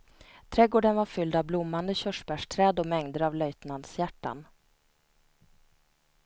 Trädgården var fylld av blommande körsbärsträd och mängder av löjtnantshjärtan.